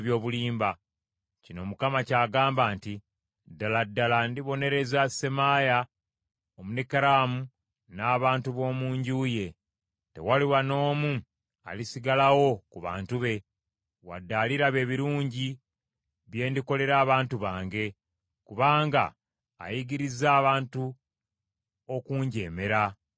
kino Mukama ky’agamba nti, Ddala ddala ndibonereza Semaaya Omunekeramu n’abantu b’omu nju ye. Tewaliba n’omu alisigalawo ku bantu be, wadde aliraba ebirungi bye ndikolera abantu bange, kubanga ayigirizza abantu okunjeemera, bw’ayogera Mukama .’”